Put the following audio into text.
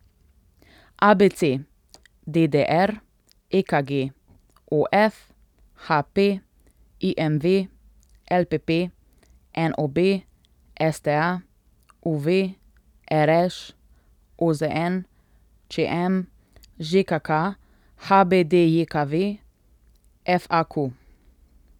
A B C; D D R; E K G; O F; H P; I M V; L P P; N O B; S T A; U V; R Š; O Z N; Č M; Ž K K; H B D J K V; F A Q.